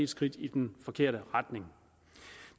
skridt i den forkerte retning